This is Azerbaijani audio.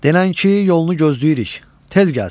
Denən ki, yolunu gözləyirik, tez gəlsin.